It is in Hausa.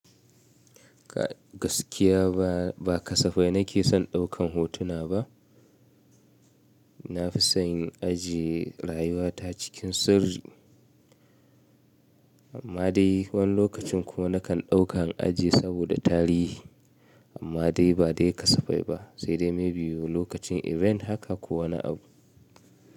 Gaskiya ba, ba kasafai nake son ɗaukan hotuna ba. Na fi son in ajiye rayuwa ta cikin sirri. Amma dai wani lokacin kuma nakan ɗauka in ajiye saboda tarihi. Amma dai ba dai kasafai ba, sai dai maybe lokacin event haka kuwa wani abu.